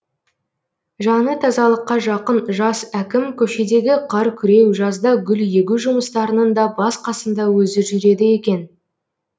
жаны тазалыққа жақын жас әкім көшедегі қар күреу жазда гүл егу жұмыстарының да бас қасында өзі жүреді екен